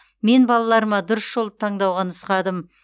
мен балаларыма дұрыс жолды таңдауға нұсқадым